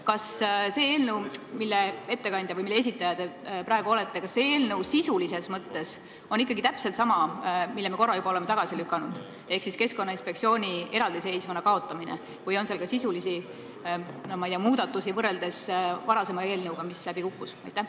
Kas see eelnõu, mille esitaja te praegu olete, on sisulises mõttes ikkagi täpselt sama, mille me korra juba oleme tagasi lükanud, ehk selle sisu on Keskkonnainspektsiooni eraldiseisva asutusena kaotamine, või on seal ka sisulisi muudatusi võrreldes eelnõuga, mis siin läbi kukkus?